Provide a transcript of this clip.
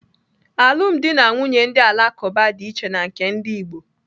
Alụm dị na nwunye ndị Alakụba dị iche na nke ndi Igbo.